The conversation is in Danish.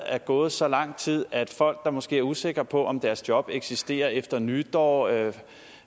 er gået så lang tid at folk måske er usikre på om deres job eksisterer efter nytår eller